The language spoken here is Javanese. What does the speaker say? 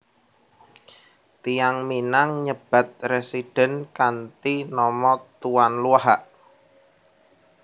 Tiyang Minang nyebat residen kanthi nama Tuan Luhak